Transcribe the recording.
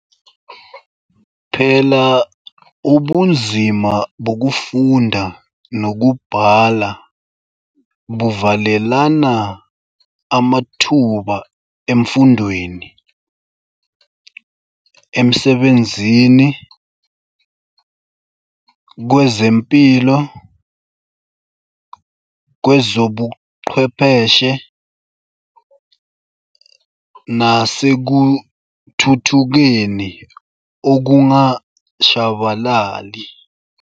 Phela ubunzima bokufunda nokubhala buvalelana amathuba emfundweni, emsebenzini, kwezempilo, kwezobuchwepheshe nasekuthuthukeni okungashabalali.